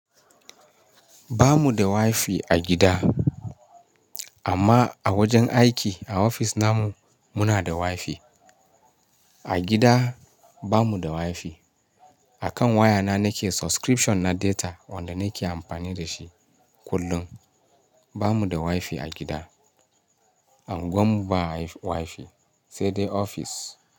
Ba mu da Wi-Fi a gida, amma a wajen aiki a ofis na mu muna da Wi-Fi. A gida ba mu da Wi-Fi. A kan waya na nake subscription na data wanda nake amfani da shi kullum. Ba mu da Wi-Fi a gida. Angwan mu ba Wi-Fi sai dai ofis.